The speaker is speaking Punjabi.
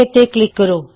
ਤੇ ਕਲਿਕ ਕਰੋ